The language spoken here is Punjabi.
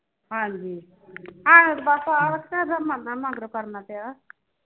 ਹਾਂਜੀ ਆਹੋ ਤੇ ਬਸ ਆਹੋ ਪਿਆ ਹਾ